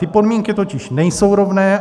Ty podmínky totiž nejsou rovné.